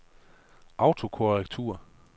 autokorrektur